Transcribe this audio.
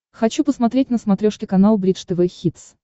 хочу посмотреть на смотрешке канал бридж тв хитс